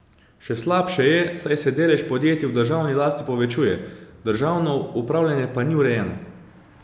Še slabše je, saj se delež podjetij v državni lasti povečuje, državno upravljanje pa ni urejeno.